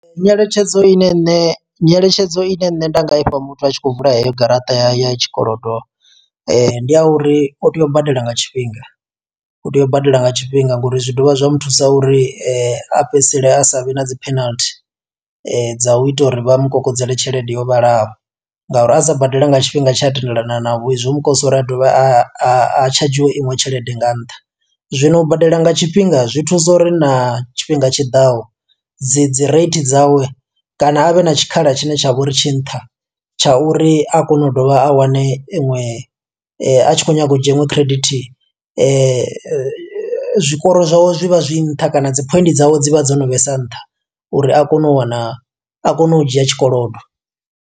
Nyeletshedzo ine nṋe, nyeletshedzo ine nṋe nda nga ifha muthu a tshi khou vula heyo garaṱa ya ya tshikolodo. Ndi ya uri o tea u badela nga tshifhinga, u tea u badela nga tshifhinga ngo uri zwi dovha zwa mu thusa uri a fhedzisele a sa vhe na dzi penalty dza u ita uri vha mukokodzela tshelede yo vhalaho. Ngauri a sa badele nga tshifhinga tshe a tendelana navho, zwo mukonḓisa uri a dovhe a a tshadzhiwe iṅwe tshelede nga nṱha. Zwino u badela nga tshifhinga zwi thusa uri na tshifhinga tshiḓaho dzi dzi rate dzawe kana a vhe na tshikhala tshine tsha vho uri tshi nṱha, tsha uri a kone u dovha a wane iṅwe a tshi khou nyaga u dzhia iṅwe credit zwikoro zwawe zwi vha zwi nṱha. Kana dzi phoint dzawe dzi vha dzo no vhesa nṱha uri a kone u wana, a kone u dzhia tshikolodo.